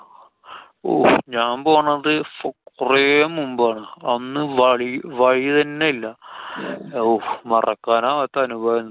ഓ ഞാന്‍ പോണത്. ഫോ~ കൊറേ മുമ്പാണ്. അന്ന് വഴി~ വഴിതന്നെ ഇല്ലാ. ഹൊ! മറക്കാനാവാത്ത അനുഭവായിരുന്നു.